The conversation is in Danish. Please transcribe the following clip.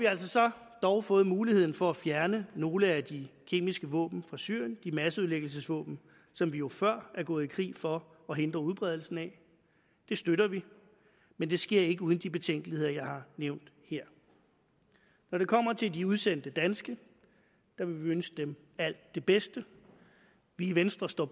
altså dog fået muligheden for at fjerne nogle af de kemiske våben fra syrien de masseødelæggelsesvåben som vi jo før er gået i krig for at hindre udbredelsen af det støtter vi men det sker ikke uden de betænkeligheder jeg har nævnt her når det kommer til de udsendte danske vil vi ønske dem alt det bedste vi i venstre står